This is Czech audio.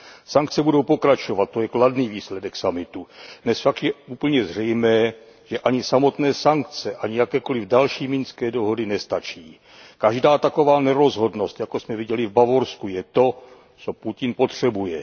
Sankce budou pokračovat, to je kladný výsledek summitu. Dnes však je úplně zřejmé, že ani samotné sankce, ani jakékoliv další minské dohody nestačí. Každá taková nerozhodnost, jakou jsme viděli v Bavorsku, je to, co Putin potřebuje.